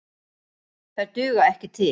Þær duga ekki til.